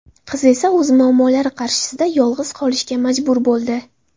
Qiz esa o‘z muammolari qarshisida yolg‘iz qolishga majbur bo‘ldi.